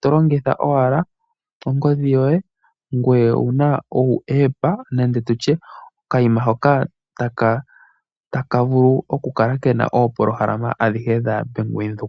tolongitha wala ongodhi yoye yopeke, opolohalama ndjono hayikala iinima ayishe ya bank windhoek.